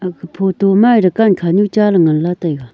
aga photo ma dukan khanu cha ley ngan la taega.